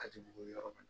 A ti bugun yɔrɔ mun na